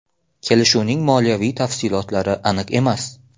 Kelishuvning moliyaviy tafsilotlari aniq emas.